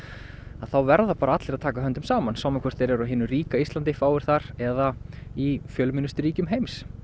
þá verða bara allir að taka höndum saman sama hvort þeir eru á hinu ríka Íslandi fáir þar eða í fjölmennustu ríkjum heims